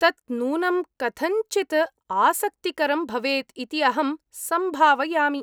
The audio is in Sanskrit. तत् नूनं कथञ्चित् आसक्तिकरं भवेत् इति अहं सम्भावयामि।